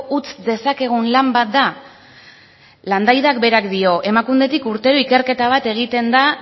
utz dezakegun lan bat da landaidak berak dio emakundetik urtero ikerketa bat egiten da